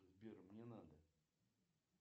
сбер мне надо